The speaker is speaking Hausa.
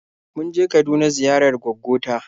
Mun je Kaduna ziyarar gwaggo ta.